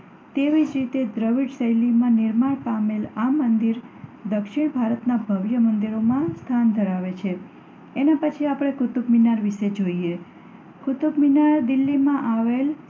તેવી જ રીતે દ્રવિડ શૈલીમાં નિર્માણ પામેલ આ મંદિર દક્ષિણ ભારતનાં ભવ્ય મંદિરોમાં સ્થાન ધરાવે છે. એના પછી આપણે કુતુબમિનાર વિષે જોઈએ કુતુબમિનાર દિલ્હીમાં આવેલ